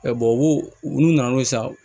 u nana ye sa